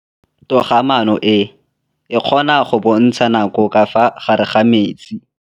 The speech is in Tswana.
Toga-maanô e, e kgona go bontsha nakô ka fa gare ga metsi.